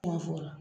Kuma fɔ